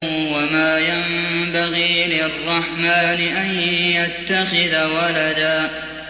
وَمَا يَنبَغِي لِلرَّحْمَٰنِ أَن يَتَّخِذَ وَلَدًا